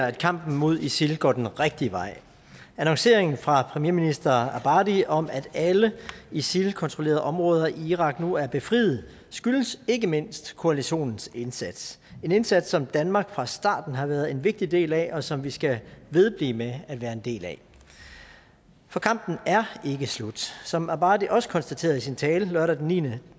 at kampen mod isil går den rigtige vej annonceringen fra premierminister abadi om at alle isil kontrollerede områder i irak nu er befriet skyldes ikke mindst koalitionens indsats det en indsats som danmark fra starten har været en vigtig del af og som vi skal vedblive med at være en del af for kampen er ikke slut som abadi også konstaterede i sin tale lørdag den niende